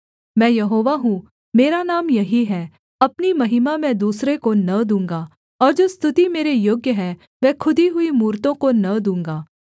मैं यहोवा हूँ मेरा नाम यही है अपनी महिमा मैं दूसरे को न दूँगा और जो स्तुति मेरे योग्य है वह खुदी हुई मूरतों को न दूँगा